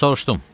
Soruşdum: